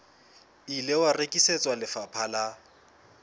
ile wa rekisetswa lefapha la